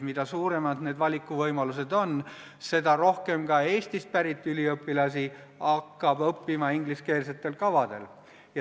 Mida suuremad need valikuvõimalused on, seda rohkem Eestist pärit üliõpilasi hakkab õppima ingliskeelsetel kavadel.